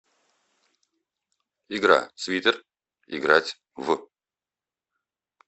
игра свитер играть в